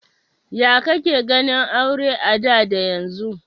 Ya ka ke ganin aure a da da yanzu?